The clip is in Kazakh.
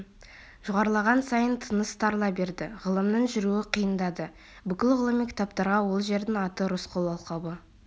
жоғарылаған сайын тыныс тарыла берді ғалымның жүруі қиындады бүкіл ғылыми кітаптарға ол жердің аты рысқұл алқабы